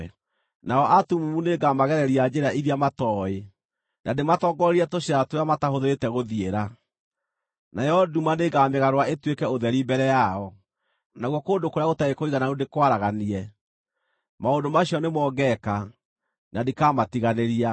Nao atumumu nĩngamagereria njĩra iria matooĩ, na ndĩmatoongorerie tũcĩra tũrĩa mataahũthĩrĩte gũthiĩra; nayo nduma nĩngamĩgarũra ĩtuĩke ũtheri mbere yao, nakuo kũndũ kũrĩa gũtarĩ kũigananu ndĩkwaraganie. Maũndũ macio nĩmo ngeeka, na ndikamatiganĩria.